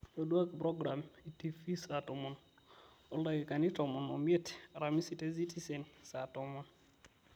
ntoduaki progiram e tv saa tomon oldakikani tomon o miet aramisi te citizen saa tomon